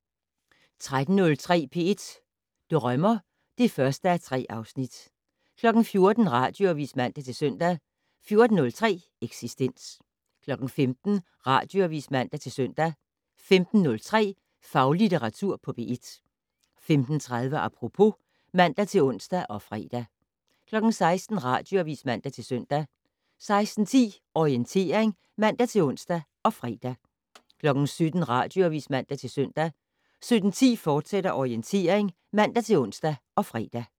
13:03: P1 Drømmer (1:3) 14:00: Radioavis (man-søn) 14:03: Eksistens 15:00: Radioavis (man-søn) 15:03: Faglitteratur på P1 15:30: Apropos (man-ons og fre) 16:00: Radioavis (man-søn) 16:10: Orientering (man-ons og fre) 17:00: Radioavis (man-søn) 17:10: Orientering, fortsat (man-ons og fre)